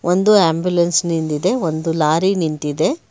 ಒಂದು ಆಂಬುಲೆನ್ಸ್ ನಿಂತಿದೆ ಒಂದು ಲಾರಿ ನಿಂತಿದೆ.